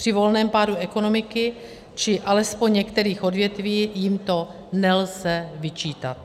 Při volném pádu ekonomiky či alespoň některých odvětví jim to nelze vyčítat.